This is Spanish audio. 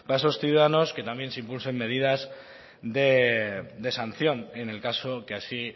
esos ciudadanos que también se impulsen medidas de sanción en el caso que así